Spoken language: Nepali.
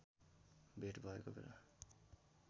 भेट भएको बेला